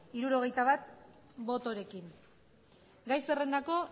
hirurogeita bat botorekin gai zerrendako